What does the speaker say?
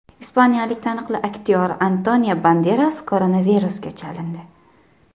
Ispaniyalik taniqli aktyor Antonio Banderas koronavirusga chalindi.